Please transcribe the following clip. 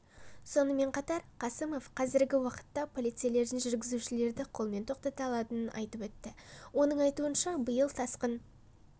сонымен қатар қасымов қазіргі уақытта полицейлердің жүргізушілерді қолымен тоқтата алатынын айтып өтті оның айтуынша биыл тасқын